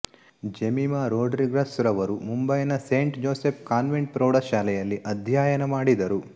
ಜೆಮಿಮಾ ರೊಡ್ರಿಗಸ್ ರವರು ಮುಂಬೈನ Saint Joseph Convent ಪ್ರೌಢಶಾಲೆಯಲ್ಲಿ ಅಧ್ಯಯನ ಮಾಡಿದರು